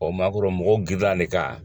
O ma kɔrɔ mɔgɔw girira ne kan.